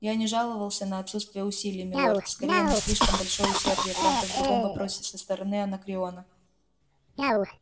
я не жаловался на отсутствие усилий милорд скорее на слишком большое усердие правда в другом вопросе со стороны анакреона